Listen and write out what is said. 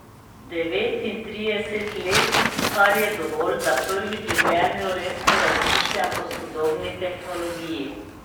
Devetintrideset let, kar je dovolj, da prvič v življenju resno razmišljam o sodobni tehnologiji.